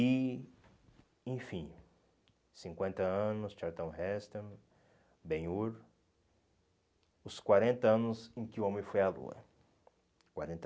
E, enfim, cinquenta anos, Charlton Heston, Ben-Hur, os quarenta anos em que o homem foi à Lua. Quarenta